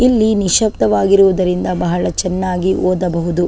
ಇಲ್ಲಿ ನಿಶ್ಯಬ್ದವಾಗಿರುವುದರಿಂದ ಬಹಳ ಚೆನ್ನಾಗಿ ಓದಬಹುದು.